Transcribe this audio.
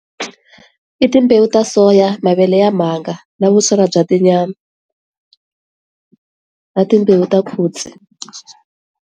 I timbewu ta soya, mavele ya mhanga na vusola bya tinyama, na timbewu .